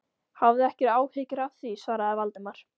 Hafðu ekki áhyggjur af því- svaraði Valdimar.